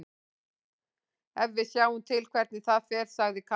En við sjáum til hvernig það fer, sagði Kári.